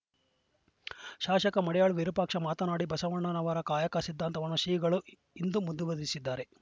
ಶಾಸಕ ಮಡಿಯಾಳ್ ವಿರೂಪಾಕ್ಷಪ್ಪ ಮಾತನಾಡಿ ಬಸವಣ್ಣ ಅವರ ಕಾಯಕ ಸಿದ್ಧಾಂತವನ್ನು ಶ್ರೀಗಳು ಇಂದು ಮುಂದುವರಿಸಿದ್ದಾರೆ